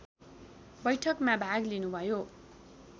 बैठकमा भाग लिनुभयो